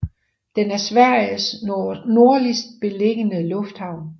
Den er Sveriges nordligst beliggende lufthavn